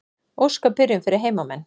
Óska byrjun fyrir heimamenn.